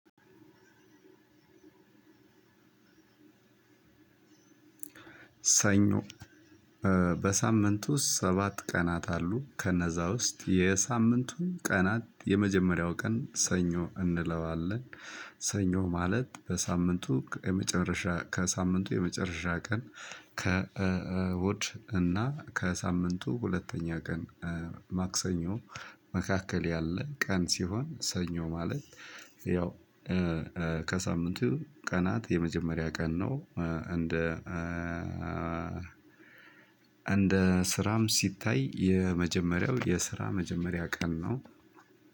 ሰኞ በሳምንቱ ሰባት ቀናት አሉ ከነዛ ውስጥ የሳምንቱን ቀናት የመጀመሪያው ቀን ሰኞ እንለዋለን። ሰኞ ማለት በሳምንቱ የመጨረሻ ከሳምንቱ የመጨረሻ ቀን ከእሁድ እና ከሳምንቱ ሁለተኛ ቀን ማክሰኞ መካከል ያለ ቀን ሲሆን። ሰኞ ማለት ያው ከሳምንቱ ቀናት የመጀመሪያ ቀን ነው። እንደ እንደ ስራም ሲታይ የመጀመሪያው የስራ መጀመሪያ ቀን ነው።